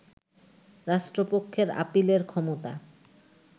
রাষ্ট্রপক্ষের আপীলের ক্ষমতা